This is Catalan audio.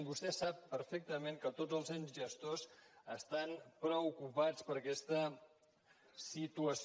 vostè sap perfectament que tots els ens gestors estan preocupats per aquesta situació